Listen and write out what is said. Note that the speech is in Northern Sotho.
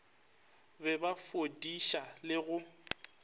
be ba fudiša le go